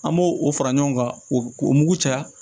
An b'o o fara ɲɔgɔn kan o k'o mugu caya